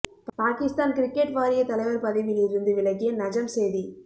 Pakistan cricket வாரியத் தலைவர் பதவியில் இருந்து விலகிய நஜம் சேதி